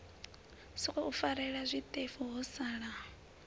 sokou farelela zwiṱefu ho sala